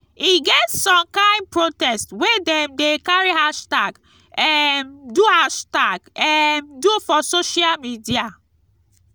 e get some kind protest wey dem dey carry hashtag um do hashtag um do for social media.